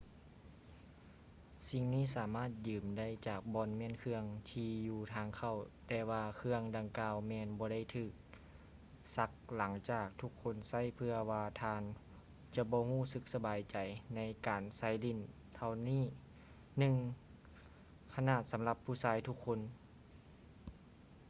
ສິ່ງນີ້ສາມາດຢືມໄດ້ຈາກບ່ອນມ້ຽນເຄື່ອງທີ່ຢູ່ທາງເຂົ້າແຕ່ວ່າເຄື່ອງດັ່ງກ່າວແມ່ນບໍ່ໄດ້ຖືກຊັກຫຼັງຈາກທຸກຄົນໃຊ້ເພື່ອວ່າທ່ານຈະບໍ່ຮູ້ສຶກສະບາຍໃຈໃນການໃສ່ສິ້ນເຫຼົ່ານີ້ ໜຶ່ງຂະໜາດສຳລັບຜູ້ຊາຍທຸກຄົນ